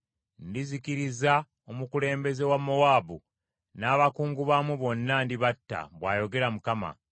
Ndizikiriza omukulembeze wa Mowaabu n’abakungu baamu bonna, ndibatta,” bw’ayogera Mukama .